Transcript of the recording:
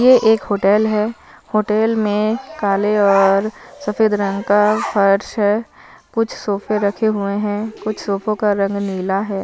यह एक होटल है होटल में काले और सफेद रंग का फर्श है कुछ सोफे रखे हुए हैं सोफो का रंग नीला है।